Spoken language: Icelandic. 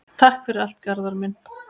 Takk fyrir allt, Garðar minn.